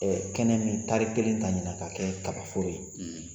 kɛnɛ min tari kelen ta ɲinan ka kɛ kaba foro ye